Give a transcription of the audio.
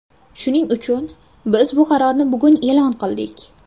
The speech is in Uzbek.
Shuning uchun biz bu qarorni bugun e’lon qildik.